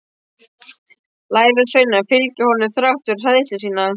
Lærisveinarnir fylgja honum þrátt fyrir hræðslu sína.